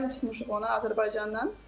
Müəllim tutmuşuq ona Azərbaycandan.